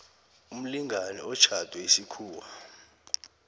umlingani otjhadwe isikhuwa